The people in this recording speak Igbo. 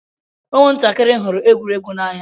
Ụmụ ntakịrị hụrụ egwuregwu n'anya.